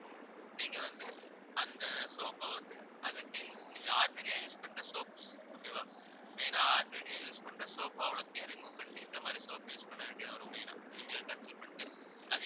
நீங்க வந்து அந்த soap அ வந்து அதை clean நீங்க ordinary யா use பண்ற soap okay வா main ஆ ordinary use பண்ற soap அவ்வளத்தையும் remove பண்ணிட்டு இந்த மாதிரி soap use பண்ண வேண்டியது வரும் main ஆ நீங்க control பண்ணிட்டு